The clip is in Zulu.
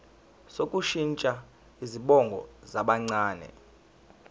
sokushintsha izibongo zabancane